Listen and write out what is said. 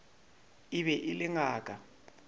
e be e le ngaka